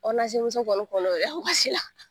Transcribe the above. Orinasi kɔni kɔnɔ la.